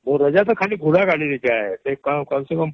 ମୋର ଅଜା ତ ଖାଲି ଘୋଡା ଗାଡ଼ିରେ ଯାଏ . ସେ କମସେକମ